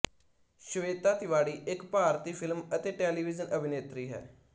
ਸ਼ਵੇਤਾ ਤਿਵਾੜੀ ਇੱਕ ਭਾਰਤੀ ਫਿਲਮ ਅਤੇ ਟੈਲੀਵਿਜ਼ਨ ਅਭਿਨੇਤਰੀ ਹੈ